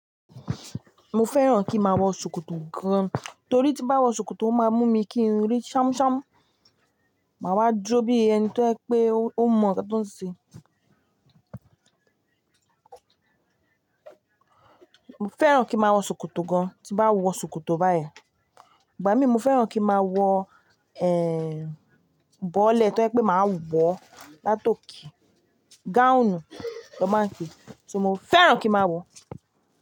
Mo fẹ́ràn kí máa wọ ṣòkòtò gan, torí tí bá wọ ṣòkòtò o máa mú mi kí n rí ṣamṣam, màá wá duro bí ẹni to jẹ pé ó mọ nnkan tó ń ṣe. Mo fẹ́ràn kí n máa wọ ṣòkòtò gan, tí n bá wọ ṣòkòtò báyìí, ìgbà mí mo fẹ́ràn kí n màá wọ, bọ́lẹ̀ to jẹ pé màá wọ látọke, gáùnù na máa ń pe, so mo fẹ́ràn kí n màá wọ.